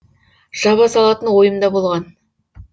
жаба салатын ойым да болған